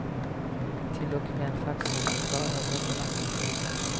Till och med faxnumret var överbelagt.